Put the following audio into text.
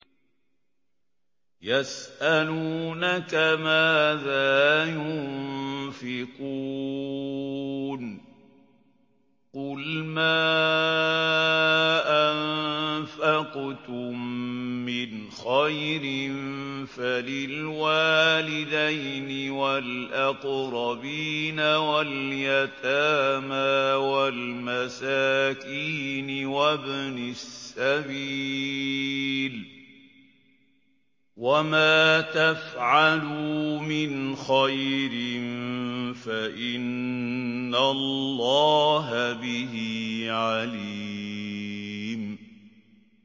يَسْأَلُونَكَ مَاذَا يُنفِقُونَ ۖ قُلْ مَا أَنفَقْتُم مِّنْ خَيْرٍ فَلِلْوَالِدَيْنِ وَالْأَقْرَبِينَ وَالْيَتَامَىٰ وَالْمَسَاكِينِ وَابْنِ السَّبِيلِ ۗ وَمَا تَفْعَلُوا مِنْ خَيْرٍ فَإِنَّ اللَّهَ بِهِ عَلِيمٌ